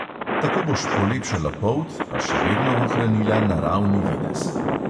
Največ sem se v tem času vozil na gorskem kolesu, a ko je bil čas, sem zajahal tudi specialko.